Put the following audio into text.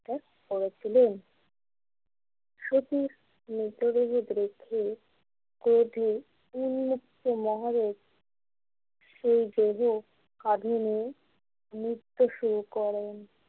করেছিলেন সতীর মৃতদেহ রেখে ক্রোধে উন্মুক্ত মহাদেব সেই দেহ কাঁধে নিয়ে নৃত্য শুরু করেন।